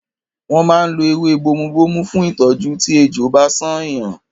Wọ́n máa ń lo ewé bomubómú fún ìtọ́jú tí ejò bá ṣán èèyàn.